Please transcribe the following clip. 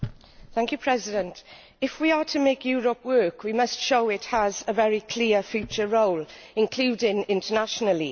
Mr President, if we are to make Europe work we must show it has a very clear future role, including internationally.